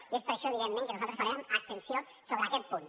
i és per això evidentment que nosaltres farem abstenció sobre aquest punt